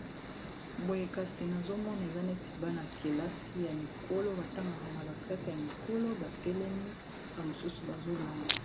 boyekasi nazomona eza neti bana -kelasi ya mikolo batangaka na baklase ya mikolo batelemi bamosusu bazolanda